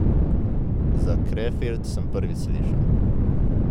Za Krefeld sem prvič slišal.